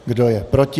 Kdo je proti?